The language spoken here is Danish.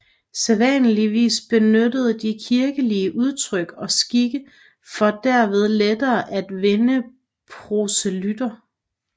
Sædvanligvis benyttede de kirkelige udtryk og skikke for derved lettere at vinde proselytter